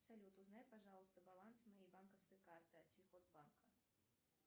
салют узнай пожалуйста баланс моей банковской карты от сельхозбанка